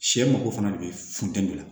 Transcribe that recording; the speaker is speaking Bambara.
Sɛ mako fana de be funteni la